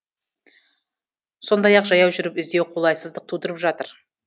сондай ақ жаяу жүріп іздеу қолайсыздық тудырып жатыр